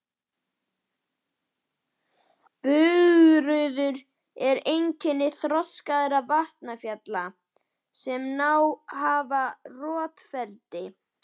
Bugður eru einkenni þroskaðra vatnsfalla sem náð hafa roffleti.